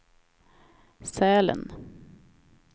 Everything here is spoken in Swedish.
Sälen